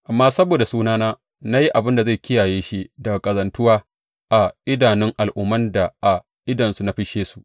Amma saboda sunana na yi abin da zai kiyaye shi daga ƙazantuwa a idanun al’umman da a idonsu na fisshe su.